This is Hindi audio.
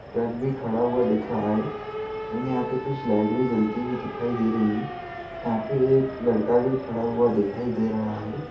ट्रक भी खड़ा हुआ दिख रहा है और यहाँ पे कुछ लाइट भी जलती दिखाई दे रही है यंहा पे लड़का भी खड़ा हुआ दिखाई दे रहा है।